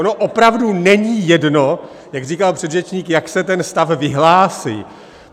Ono opravdu není jedno, jak říkal předřečník, jak se ten stav vyhlásí.